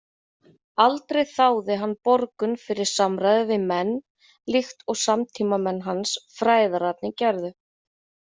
Aldrei þáði hann borgun fyrir samræður við menn, líkt og samtímamenn hans fræðararnir gerðu.